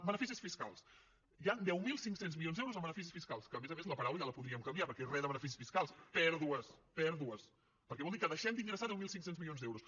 beneficis fiscals hi han deu mil cinc cents milions d’euros en beneficis fiscals que a més a més la paraula ja la podríem canviar perquè re de beneficis fiscals pèrdues pèrdues perquè vol dir que deixem d’ingressar deu mil cinc cents milions d’euros